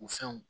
U fɛnw